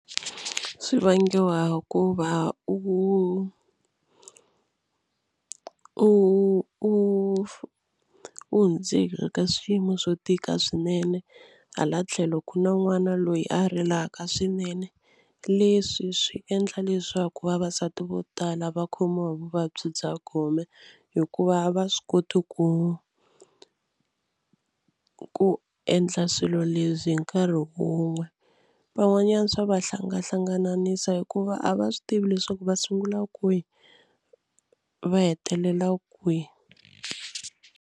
Swi vangiwa hikuva u u u hundze hi le ka swiyimo swo tika swinene hala tlhelo ku na n'wana loyi a rilaka swinene. Leswi swi endla leswaku vavasati vo tala va khomiwa hi vuvabyi bya gome hikuva va swi koti ku ku endla swilo leswi hi nkarhi wun'we. Van'wanyana swa va hlangahlangananisa hikuva a va swi tivi leswaku va sungula kwihi va hetelela kwihi.